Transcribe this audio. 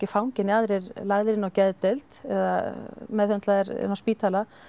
fangi né annar lagður inn á geðdeild eða meðhöndlaðir inni á spítala